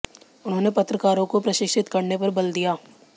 उन्होंने पत्रकारों को प्रशिक्षित करने पर बल दिया